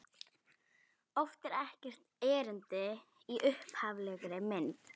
Oft er ekkert erindi í upphaflegri mynd.